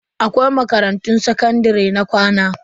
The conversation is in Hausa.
Akwai makarantun sakandare na kwana.